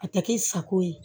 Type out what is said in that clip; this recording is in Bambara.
A tɛ kɛ i sago ye